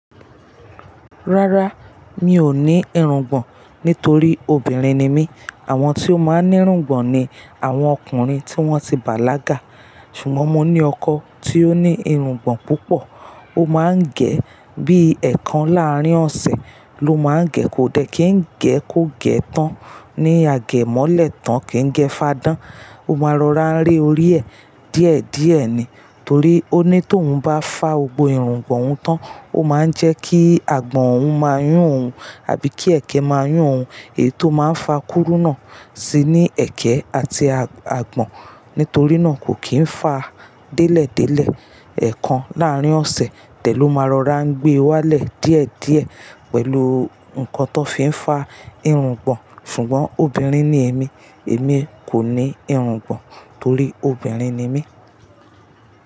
Rárá, mi ò ní irungbọ̀n nítorí obìnrin ni mí. Àwọn tí ó máa ń ní irungbọ̀n ni àwọn ọkùnrin tí wọ́n ti bàlágà. Ṣùgbọ́n mo ní ọkọ tí ó ní irungbọ̀n púpọ̀. Ó máa ń gẹ̀ ẹ́ bí i ẹ̀kan láàrín ọ̀sẹ̀ ló máa ń gẹ̀. Kò dẹ́ kí ń gẹ̀ kó gẹ̀ tán ní àgẹ̀mọ́lẹ̀ tán kí ń gẹ́ fáádán. Ó máa ń rọra rẹ́ orí ẹ díẹ̀díẹ̀ ni. Torí ó ní tó ń bá fá gbogbo irungbọ̀n òun tán, ó máa ń jẹ́ kí àgbọ̀n òun máa yún òun àbí kí ẹ̀kẹ́ máa yún òun. Èyí tó máa ń fa kúrúnà sí ní ẹ̀kẹ́ àti àgbọ̀n. Nítorí náà kò kì í fà á délẹ̀délẹ̀. Ẹ̀kan láàrín ọ̀sẹ̀ tẹ̀ ló máa rọra ń gbé e wálẹ̀ díẹ̀díẹ̀ pẹ̀lú nǹkan tó fi ń fá irungbọ̀n. Ṣùgbọ́n obìnrin ni èmi, èmi kò ní irungbọ̀n torí obìnrin ni mí.